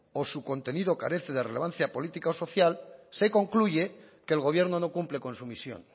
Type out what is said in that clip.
o su contenido carece de relevancia política o social se concluye que el gobierno no cumple con su misión